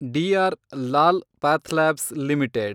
D R Lal PathLabs limited